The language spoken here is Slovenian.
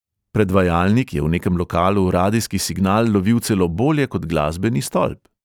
Predvajalnik je v nekem lokalu radijski signal lovil celo bolje kot glasbeni stolp.